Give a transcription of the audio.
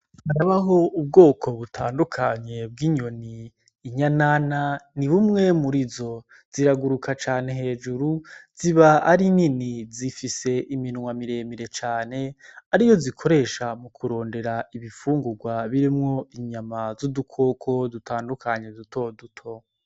Harabaho ubwoko butandukanye bw'inyoni. Inyanana ni bumwe murizo, ziraguruka cane hejuru ziba ari nini, zifise iminwa miremire cane ariyo zikoresha mu kurondera ibifungurwa birimwo inyama z'udukoko dutandukanye dutoduto.